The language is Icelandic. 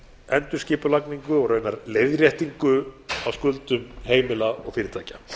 endurskipulagningu og raunar leiðréttingu á skuldum heimila og fyrirtækja